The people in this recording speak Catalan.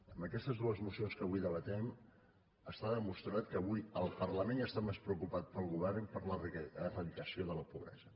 amb aquestes dues mocions que avui debatem està demostrat que avui el parlament està més preocupat que el govern per l’eradicació de la pobresa